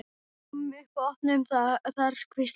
Komum upp og opnum það þar hvíslaði hann.